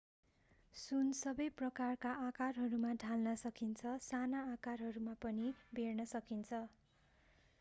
सुन सबै प्रकारका आकारहरूमा ढाल्न सकिन्छ साना आकारहरूमा पनि बेर्न सकिन्छ